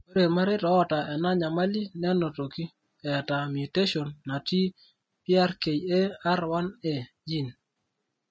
ore irmareita oota ena nyamali nenotoki eeta mutation natii PRKAR1A gene.